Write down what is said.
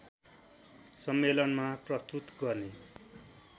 सम्मेलनमा प्रस्तुत गर्ने